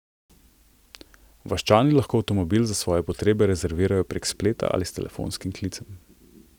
Vaščani lahko avtomobil za svoje potrebe rezervirajo prek spleta ali s telefonskim klicem.